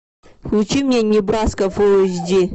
включи мне небраска фулл эйч ди